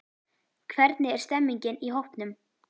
Hvernig er stemmningin í hópnum?